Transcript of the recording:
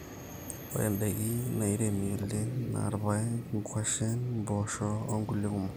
ore daikin nairemi oleng na ilpaek, nkuashen, mboosho o nkulie kumok